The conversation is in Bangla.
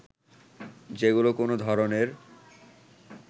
যেগুলো কোনো ধরনের